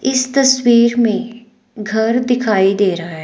इस तस्वीर में घर दिखाई दे रहा है।